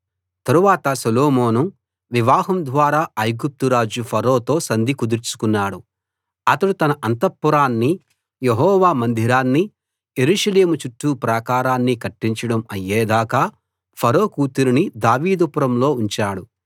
తరువాత సొలొమోను వివాహం ద్వారా ఐగుప్తు రాజు ఫరోతో సంధి కుదుర్చుకున్నాడు అతడు తన అంతఃపురాన్నీ యెహోవా మందిరాన్నీ యెరూషలేము చుట్టూ ప్రాకారాన్నీ కట్టించడం అయ్యే దాకా ఫరో కూతురిని దావీదు పురంలో ఉంచాడు